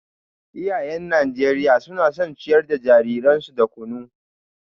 Iyayen Najeriya suna son ciyar da jariransu da kunu